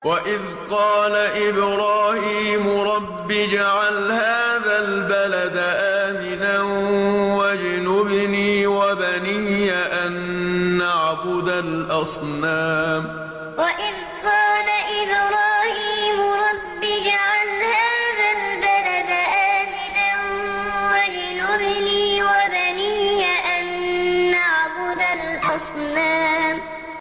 وَإِذْ قَالَ إِبْرَاهِيمُ رَبِّ اجْعَلْ هَٰذَا الْبَلَدَ آمِنًا وَاجْنُبْنِي وَبَنِيَّ أَن نَّعْبُدَ الْأَصْنَامَ وَإِذْ قَالَ إِبْرَاهِيمُ رَبِّ اجْعَلْ هَٰذَا الْبَلَدَ آمِنًا وَاجْنُبْنِي وَبَنِيَّ أَن نَّعْبُدَ الْأَصْنَامَ